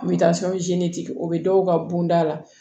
N bɛ taa o bɛ dɔw ka bonda la